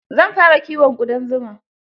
Zan fara kiyon ƙudan zuma.